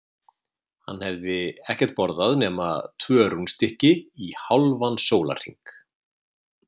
Hann hafði ekkert borðað nema tvö rúnstykki í hálfan annan sólarhring.